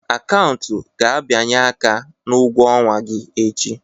Akaụntụ ga-abịanye aka na ụgwọ ọnwa gị echi